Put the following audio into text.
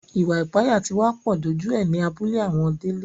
Ìwà ìpániláyà tí wá pọ̀ dójú ẹ ní abúlé àwọn Délé